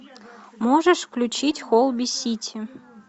можешь включить холби сити